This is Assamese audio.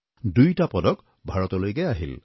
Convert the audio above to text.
দুয়োটা পদক ভাৰতলৈকে আহিল